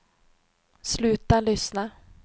sluta lyssna